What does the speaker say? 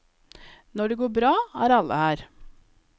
Når det går bra, er alle her.